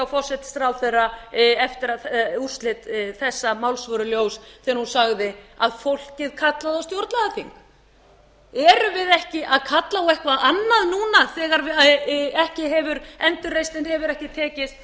forsætisráðherra eftir að úrslit þessa máls voru ljós þegar hún sagði að fólkið kallaði á stjórnlagaþing erum við ekki að kalla á eitthvað annað núna þegar ekki hefur endurreisnin hefur ekki tekist